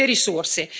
Uno le risorse.